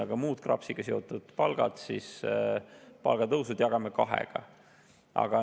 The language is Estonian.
Aga muud KRAPS-iga seotud palgatõusud jagame kahega.